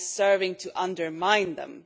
It is serving to undermine them.